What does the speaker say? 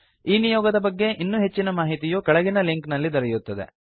ಈ ನಿಯೋಗದ ಬಗ್ಗೆ ಇನ್ನೂ ಹೆಚ್ಚಿನ ಮಾಹಿತಿಯು ಕೆಳಗಿನ ಲಿಂಕ್ ನಲ್ಲಿ ದೊರೆಯುತ್ತದೆ